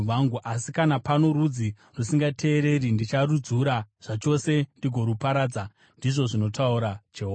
Asi kana pano rudzi rusingateereri, ndicharudzura zvachose ndigoruparadza,” ndizvo zvinotaura Jehovha.